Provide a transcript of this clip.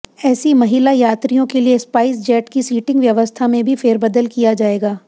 ऐसी महिला यात्रियों के लिए स्पाइसजेट की सीटिंग व्यवस्था में भी फेरबदल किया जाएगा